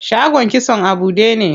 Shagon kitson a buɗe ne.